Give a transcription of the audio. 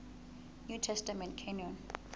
new testament canon